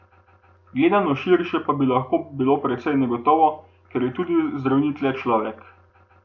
Gledano širše pa bi lahko bilo precej negotovo, ker je tudi zdravnik le človek.